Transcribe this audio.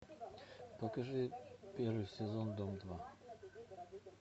покажи первый сезон дом два